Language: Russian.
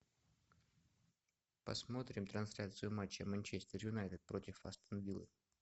посмотрим трансляцию матча манчестер юнайтед против астон виллы